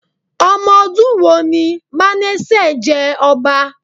Omodun wo ni Mánásè jẹ ọba?